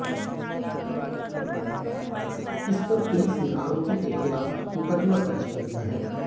इस पर पुलिस ने आरोपी के खिलाफ मुकदमा दर्ज कर लिया है